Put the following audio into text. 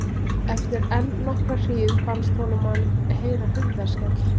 Eftir enn nokkra hríð fannst honum hann heyra hurðarskell.